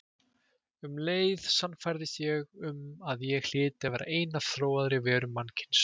Um leið sannfærðist ég um að ég hlyti að vera ein af þróaðri verum mannkyns.